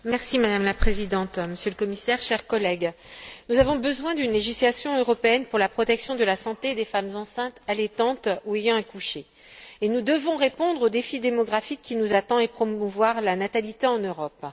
Madame la Présidente, Monsieur le Commissaire, chers collègues, nous avons besoin d'une législation européenne pour la protection de la santé des femmes enceintes, allaitantes ou ayant accouché, et nous devons répondre au défi démographique qui nous attend et promouvoir la natalité en Europe.